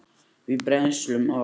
við brennslu hans.